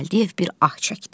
Gəldiyev bir ah çəkdi.